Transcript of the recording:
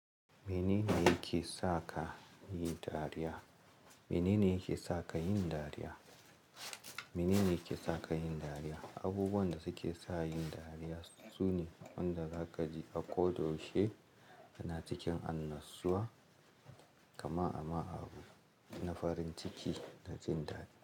Menene yake saka kayi dariya? Mene ne yake sa ka yin dariya? Mene ne yake sa ka yin dariya? Abubuwan da suke sa in dariya sune wanda za ka ji a koda yaushe kana cikin annashuwa kamar ama abu na farin ciki na jin daɗi.